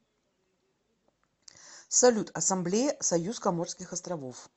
салют ассамблея союз коморских островов